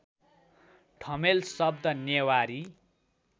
ठमेल शब्द नेवारी